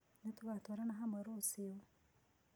Nĩtũgatwarana hamwe rũcĩũ.